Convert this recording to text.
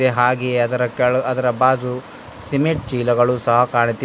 ಹಾಗೆ ಅದರ ಕೆಳ ಅದರ ಬಾಜು ಸಿಮೆಂಟ್ ಚೀಲ ಕಾಣುತ್ತಿವೆ.